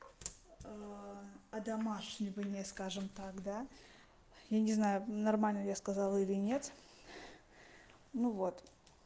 а одомашнивание скажем так да я не знаю нормально ли я сказала или нет ну вот